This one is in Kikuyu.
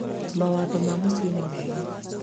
mawatho ma mũcii nĩ mega